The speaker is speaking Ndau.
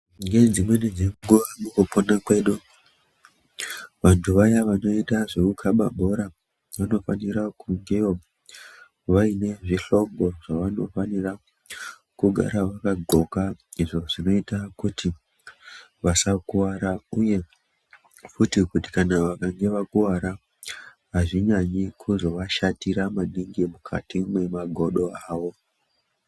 Ngedzimweni dzenguwa mukupona kwedu vantu vaya vanoita zvekukaba bhora vanofara kungewo vaine zvihlobo zvavanofanire kugara vakadhloka izvo zvinoita kuti vasakuwara uye futi kuti kana vakange vakuwara azvinyanyi kuzoashatira mukati mwemagodo awo.